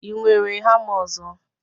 ị nwere hama ọzọ